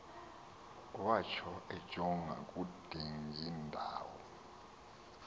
watsho ejonga kudingindawo